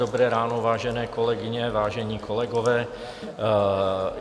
Dobré ráno, vážené kolegyně, vážení kolegové.